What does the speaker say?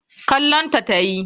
Kallon ta tayi.